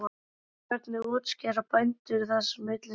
En hvernig útskýra bændur þessa minni sölu?